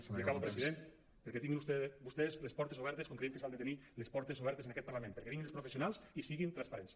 i acabo president perquè tinguin vostès les portes obertes com creiem que s’han de tenir les portes obertes en aquest parlament perquè vinguin els professionals i siguin transparents